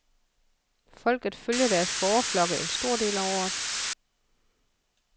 Folket følger deres fåreflokke en stor del af året.